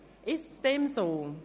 Ist dem so?